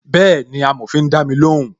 Bẹẹni, amòfin dami lóhùn